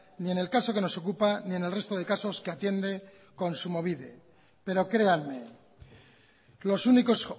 ni en el caso que nos ocupa ni en el resto de casos que atiende kontsumobide pero créanme los únicos